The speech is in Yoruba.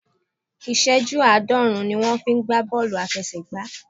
Ìṣẹ́jú àádọ́rùn-ún ni wón fi ń gbá Bọ́ọ̀lù aláfiẹsẹ̀ gbá.